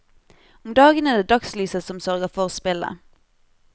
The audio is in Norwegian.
Om dagen er det dagslyset som sørger for spillet.